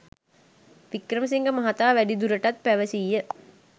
වික්‍රමසිංහ මහතා වැඩිදුරටත් පැවසීය